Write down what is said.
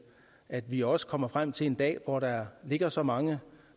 at vi også kommer frem til en dag hvor der ligger så mange